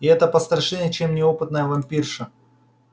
и это пострашнее чем неопытная вампирша